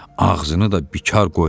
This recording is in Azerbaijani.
Ağzını da bikar qoymurdu.